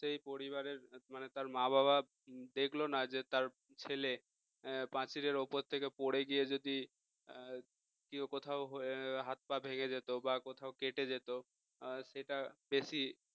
সেই পরিবারের মানে তার মা-বাবা দেখল না যে তার ছেলে পাঁচিলের ওপর থেকে পড়ে গিয়ে যদি কেউ কোথাও হাত-পা ভেঙে যেত বা কোথাও কেটে যেত সেটা বেশি